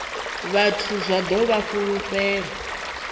vhathu zwa ḓo vha fulufhela